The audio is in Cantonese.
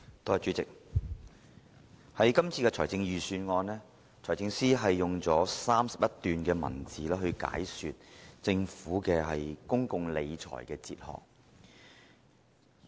在今年的財政預算案中，財政司司長用了31段文字解說政府的公共理財哲學。